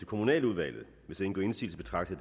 kommunaludvalget hvis ingen gør indsigelse betragter